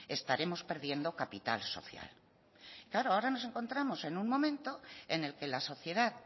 estaremos perdiendo capital social claro ahora nos encontramos en un momento en el que la sociedad